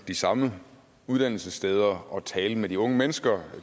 de samme uddannelsessteder og tale med de unge mennesker